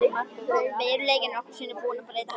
Veruleikinn er nokkrum sinnum búinn að breyta henni.